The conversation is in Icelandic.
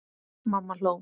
Mamma hló.